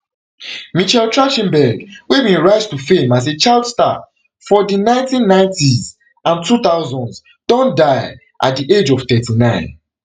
michelle trach ten berg wey bin rise to fame as a child star for di one thousand, nine hundred and ninetys and two thousands don die at di age of thirty-nine